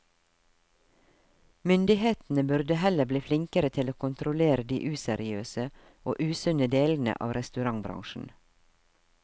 Myndighetene burde heller bli flinkere til å kontrollere de useriøse og usunne delene av restaurantbransjen.